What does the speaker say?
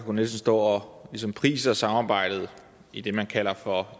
k nielsen står ligesom og priser samarbejdet i det man kalder for